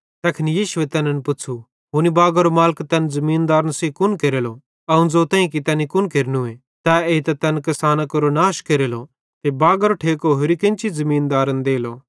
तैखन यीशुए तैन मैनन् पुच़्छ़ू हुनी बागारो मालिक तैन ज़मीनदारन सेइं कुन केरलो अवं ज़ोतईं कि तैनी कुन केरनू तै एइतां तैन किसानां केरो नाश केरलो ते बागारो ठेको होरि केन्ची ज़मीनदारन देलो